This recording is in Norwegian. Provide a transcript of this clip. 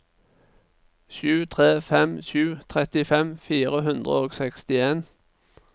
sju tre fem sju trettifem fire hundre og sekstien